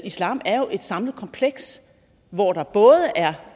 islam er jo et samlet kompleks hvor der både er